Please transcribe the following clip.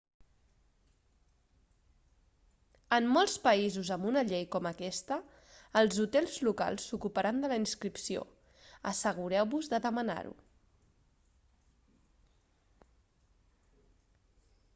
en molts països amb una llei com aquesta els hotels locals s'ocuparan de la inscripció assegureu-vos de demanar-ho